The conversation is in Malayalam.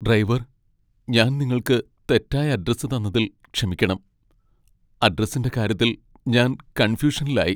ഡ്രൈവർ! ഞാൻ നിങ്ങൾക്ക് തെറ്റായ അഡ്രസ്സ് തന്നതിൽ ക്ഷമിക്കണം. അഡ്രസ്സിന്റെ കാര്യത്തിൽ ഞാൻ കൺഫ്യൂഷനിലായി .